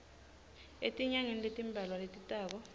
etinyangeni letimbalwa letitako